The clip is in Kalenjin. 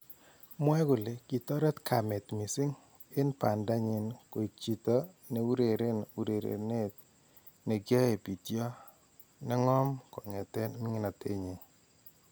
Mwae kole kitareet kameet missing en baanda nyin koek chito neureren urerenet nekiae pityoo neng'oom kong'eteen ming'inatenenyin